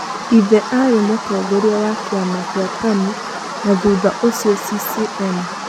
Ithe aarĩ mũtongoria wa kĩama kĩa Tanu na thutha ũcio CCM.